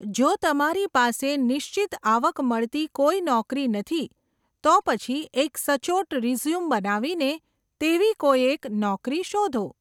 જો તમારી પાસે નિશ્ચિત આવક મળતી કોઈ નોકરી નથી, તો પછી એક સચોટ રિઝ્યુમ બનાવીને તેવી કોઈ એક નોકરી શોધો.